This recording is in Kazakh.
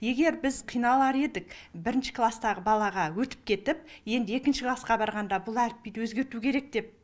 егер біз қиналар едік бірінші класстағы балаға өтіп кетіп енді екінші классқа барғанда бұл әліпбиді өзгерту керек деп